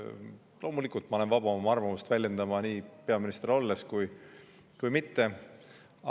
Loomulikult ma olen vaba arvamust väljendama nii peaminister olles kui mitte olles.